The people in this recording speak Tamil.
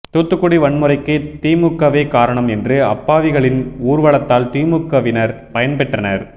தூத்துக்குடி வன்முறைக்கு திமுகவே காரணம் என்று அப்பாவிகளின் ஊர்வலத்தால் திமுகவினர் பயன்பெற்றனர்